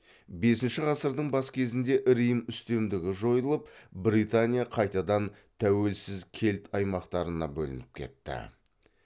бесінші ғасырдың бас кезінде рим үстемдігі жойылып британия қайтадан тәуелсіз кельт аймақтарына бөлініп кетті